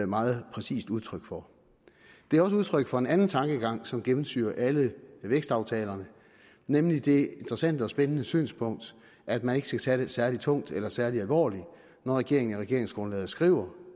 meget præcist udtryk for det er også udtryk for en anden tankegang som gennemsyrer alle vækstaftalerne nemlig det interessante og spændende synspunkt at man ikke skal tage det særlig tungt eller særlig alvorligt når regeringen i regeringsgrundlaget skriver